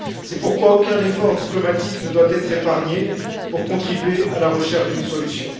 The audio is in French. C'est pourquoi aucun effort diplomatique ne doit être épargné pour contribuer à la recherche d'une solution.